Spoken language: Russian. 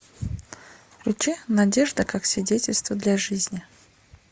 включи надежда как свидетельство для жизни